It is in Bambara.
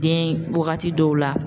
Den, wagati dɔw la